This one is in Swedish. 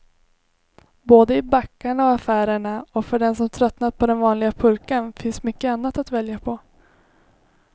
Både i backarna och affärerna, och för den som tröttnat på den vanliga pulkan finns mycket annat att välja på.